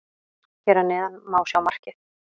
Hér að neðan má sjá markið.